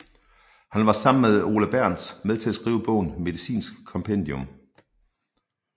Han var sammen med Ole Bernth med til at skrive bogen Medicinsk Kompendium